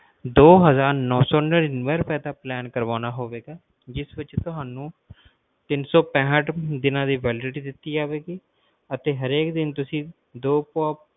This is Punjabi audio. ਦੋ ਹਜ਼ਾਰ ਨਾਉ ਸੌ ਨਾਨਿਵੇ ਦਾ plan ਕਰਵਾਣਾ ਹੋਏਗਾ ਜਿਸ ਬੀਚ ਤੁਹਾਨੂੰ ਤਿੰਨ ਸੌ ਪੈਂਠ ਦੀਨਾ ਦੀ validity ਦਿੱਤੀ ਜਾਵੇਗੀ ਅਤੇ ਹਰ ਦਿਨ ਤੁਸੀਂ ਦੋ